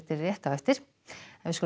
rétt á eftir þá skulum